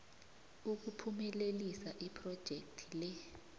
ukuphumelelisa iphrojekhthi le